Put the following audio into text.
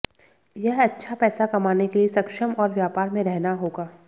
यह अच्छा पैसा कमाने के लिए सक्षम और व्यापार में रहना होगा